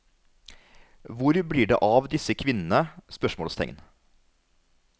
Hvor blir det av disse kvinnene? spørsmålstegn